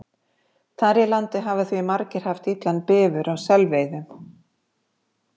Þar í landi hafa því margir haft illan bifur á selveiðum.